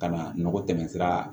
Ka na nɔgɔ tɛmɛ sira